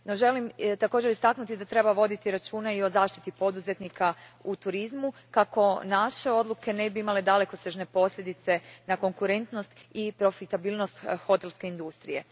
No, želim također istaknuti da treba voditi računa i o zaštiti poduzetnika u turizmu kako naše odluke ne bi imale dalekosežne posljedice na konkurentnost i profitabilnost hotelske industrije.